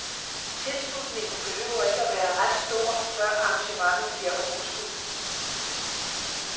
Tilslutningen behøver ikke at være ret stor, før arrangementet giver overskud.